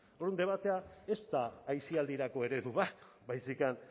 orduan debatea ez da aisialdirako eredu bat baizik eta